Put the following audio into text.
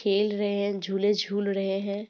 खेल रहे हैं झूले झूल रहे हैं।